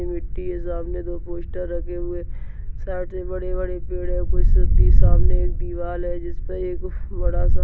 मिट्टी है सामने दो पोस्टर रखे हुए हैं। साइड में बड़े बड़े पेड़ और कुछ सीधी सामने दीवाल है जिस पे एक बड़ा सा --